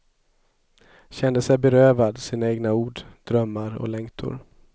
Kände sig berövad sina egna ord, drömmar och längtor.